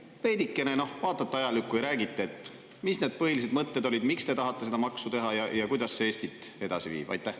Äkki te veidikene vaatate ajalukku ja räägite, mis need põhilised mõtted olid, miks te tahate seda maksu teha ja kuidas see Eestit edasi viib?